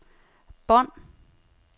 bånd